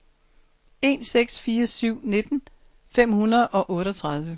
en seks fire syv nitten fem hundrede og otteogtredive